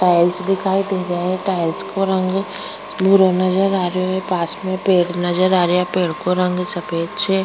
Tiles दिखाई दे रिया है टाइल्स को रंग भूरा नजर आ रियो है पास में पेड़ नजर आ रिया है पेड़ को रंग सफेद छे।